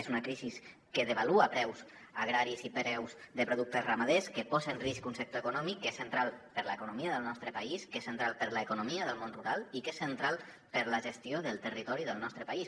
és una crisi que devalua preus agraris i preus de productes ramaders que posa en risc un sector econòmic que és central per a l’economia del nostre país que és central per a l’economia del món rural i que és central per a la gestió del territori del nostre país